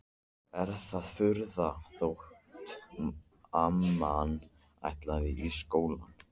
Er það furða þótt amman ætli í skóla?